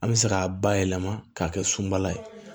An bɛ se k'a bayɛlɛma k'a kɛ sunbala ye